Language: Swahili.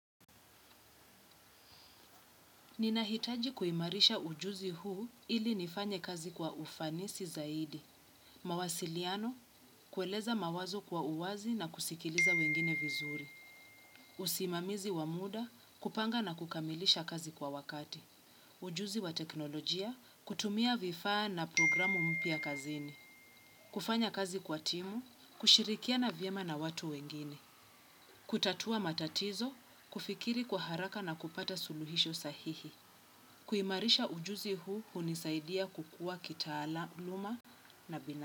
Ninahitaji kuimarisha ujuzi huu ili nifanye kazi kwa ufanisi zaidi. Mawasiliano, kueleza mawazo kwa uwazi na kusikiliza wengine vizuri. Usimamizi wa muda, kupanga na kukamilisha kazi kwa wakati. Ujuzi wa teknolojia, kutumia vifaa na programu mpya kazini. Kufanya kazi kwa timu, kushirikiana vyema na watu wengine. Kutatua matatizo, kufikiri kwa haraka na kupata suluhisho sahihi. Kuimarisha ujuzi huu hunisaidia kukua kitaala uluma na bina.